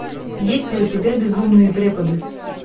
есть ли у тебя безумные преподы